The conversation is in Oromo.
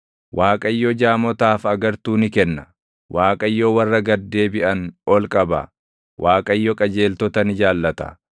Waaqayyo jaamotaaf agartuu ni kenna; Waaqayyo warra gad deebiʼan ol qaba; Waaqayyo qajeeltota ni jaallata.